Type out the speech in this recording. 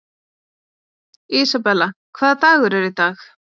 Isabella, hvaða dagur er í dag?